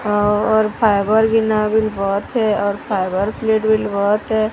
और फाइबर बहोत है और फाइबर प्लेट भी बहोत है।